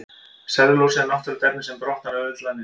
Sellulósi er náttúrulegt efni sem brotnar auðveldlega niður.